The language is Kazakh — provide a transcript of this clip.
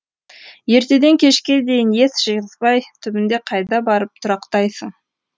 ертеден кешке дейін ес жиғызбай түбінде қайда барып тұрақтайсың